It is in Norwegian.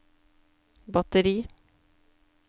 batteri